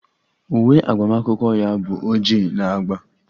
Uwe agbamakwụkwọ ya bụ oji na agba